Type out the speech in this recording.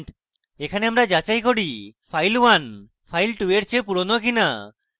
এখানে আমরা যাচাই করি যে file1 file2 এর চেয়ে পুরোনো কিনা